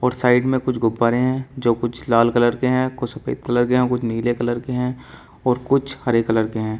और साइड में कुछ गुब्बारे हैं जो कुछ लाल कलर के हैं कुछ सफेद कलर के हैं कुछ नीले कलर के हैं और कुछ हरे कलर के हैं।